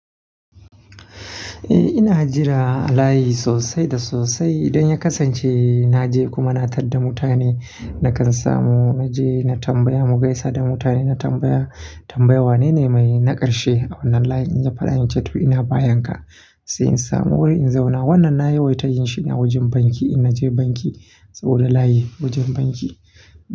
Eh ina jira layi sosai da sosai. Idan ya kasance naje kuma na tar da mutane na kan samu. Naje na tambaya mu gaisa da mutane, na tambaya tambaya wanene mai na karshe a wannan layin? In ya faɗa min "in ceto ina bayan ka", sai in samu wuri in zauna. Wannan na ya wai ta yin shine a wajen banki. In naje banki saboda layi wajen banki.